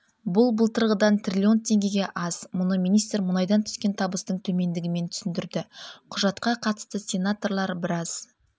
бұл былтырғыдан триллион теңгеге аз мұны министр мұнайдан түскен табыстың төмендігімен түсіндірді құжатқа қатысты сенаторлар біраз